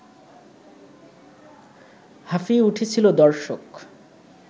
হাঁপিয়ে উঠেছিল দর্শক